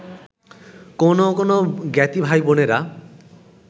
কোনো কোনো জ্ঞাতি ভাইবোনেরা